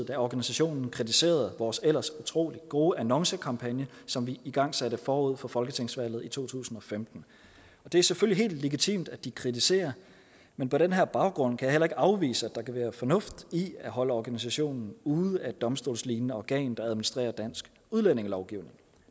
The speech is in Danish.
da organisationen kritiserede vores ellers utrolig gode annoncekampagne som vi igangsatte forud for folketingsvalget i to tusind og femten det er selvfølgelig helt legitimt at de kritiserer men på den her baggrund kan jeg heller ikke afvise at der kan være fornuft i at holde organisationen ude af et domstolslignende organ der administrerer dansk udlændingelovgivning